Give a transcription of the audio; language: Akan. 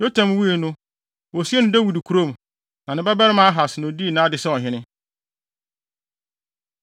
Yotam wui no, wosiee no Dawid kurom. Ne babarima Ahas, na odii nʼade sɛ ɔhene.